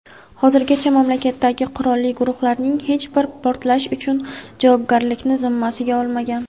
Hozirgacha mamlakatdagi qurolli guruhlarning hech biri portlash uchun javobgarlikni zimmasiga olmagan.